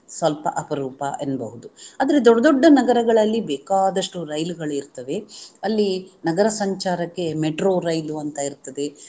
ಸ್ವಲ್ಪ ಅಪರೂಪ ಎನ್ನಬಹುದು. ಆದರೆ ದೊಡ್ಡ ದೊಡ್ಡ ನಗರಗಳಲ್ಲಿ ಬೇಕಾದಷ್ಟು ರೈಲುಗಳಿರ್ತವೆ ಅಲ್ಲಿ ನಗರ ಸಂಚಾರಕ್ಕೆ metro ರೈಲು ಅಂತ ಇರ್ತದೆ